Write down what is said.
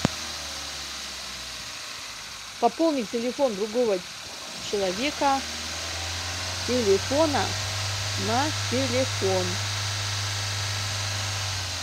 пополнить телефон другого человека с телефона на телефон